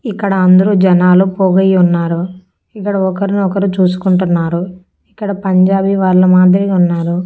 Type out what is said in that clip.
ఇక్కడ అందరూ జనాలు పోగైయున్నారు ఇక్కడ ఒకరిని ఒకరు చూసుకుంటున్నారు ఇక్కడ పంజాబీ వాళ్ళ మాదిరిగా ఉన్నారు.